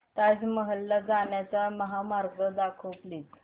ताज महल ला जाण्याचा महामार्ग दाखव प्लीज